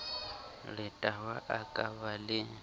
letawa a ka ba le